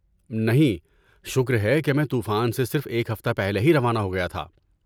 نہیں، شکر ہے کہ میں طوفان سے صرف ایک ہفتہ پہلے ہی روانہ ہو گیا تھا۔